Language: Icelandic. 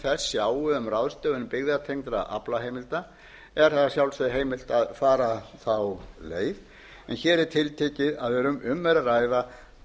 þess sjái um ráðstöfun byggðatengdra aflaheimilda er þeim að sjálfsögðu heimilt að fara þá leið en hér er tiltekið að um er að ræða